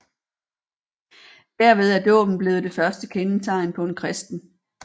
Derved er dåben blevet det første kendetegn på en kristen